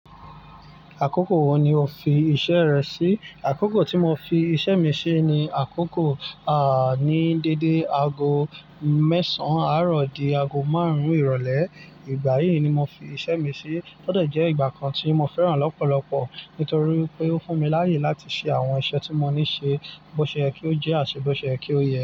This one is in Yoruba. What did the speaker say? Àkókò wo ni o fi iṣẹ́ rẹ sí? Àkókò tí mo fi iṣẹ́ mi ṣe ni àkókò, ní dédé aago mẹ́sàn-án àárọ̀ di aago márùn-ún ìrọ̀lẹ́. Ìgbà yìí ni mo fi iṣẹ́ mi ṣe. Ó dẹ̀ jẹ́ ìgbà kan tí mo fẹ́ràn lọ́pọ̀lọpọ̀ nítorí wípé ó fún mi láàyè láti ṣe àwọn iṣẹ́ tí mo ní ṣe, bóṣe yẹ kí ó jẹ́, àti bóṣe yẹ kí ó yẹ.